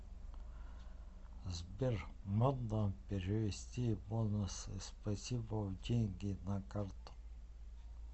сбер модно перевести бонусы спасибо в деньги на карту